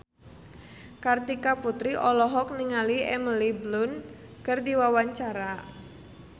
Kartika Putri olohok ningali Emily Blunt keur diwawancara